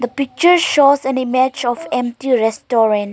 picture shows an image of empty restuarant.